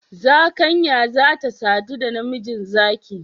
Zakanya za ta sadu da namiji zaki